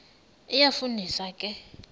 iyafu ndisa ke